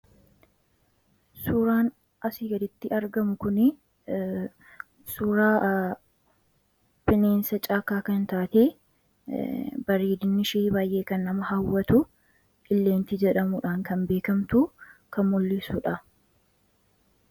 suuraan asi gaditti argamu kun suuraa pineensha caakaa kai taati bardnishii baay'ee kan nama haawwatu illeentii jedhamudhaan kan beekamtu kan mullissuudha